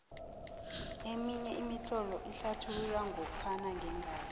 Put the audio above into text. eminye imitlolo inlathulula ngophana ngeengazi